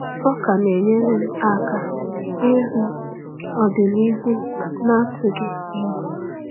Ọ ka na-enyere m aka ihu ọdịnihu n’atụghị egwu.